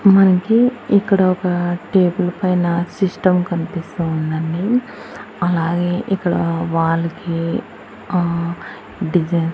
మనకి ఇక్కడ ఒక టేబుల్ పైన సిస్టం కనిపిస్తోందండి అలాగే ఇక్కడ వాల్ కి అహ్ డిజైన్ .